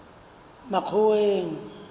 makgoweng